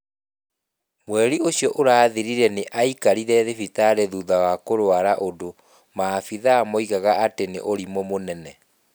Mweri ũcio ũrathirire nĩ aikarire thibitarĩ thutha wa kũrũara ũndũ maabitha moigaga atĩ nĩ ũrimũ mũnene.